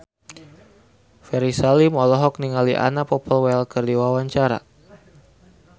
Ferry Salim olohok ningali Anna Popplewell keur diwawancara